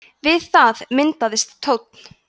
við það myndaðist tónn